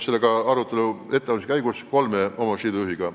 Selle arutelu ettevalmistuse käigus me kohtusime kolme omavalitsusliidu juhtidega.